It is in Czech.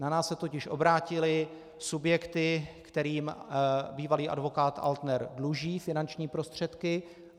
Na nás se totiž obrátily subjekty, kterým bývalý advokát Altner dluží finanční prostředky.